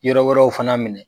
Yɔrɔ wɛrɛw fana minɛ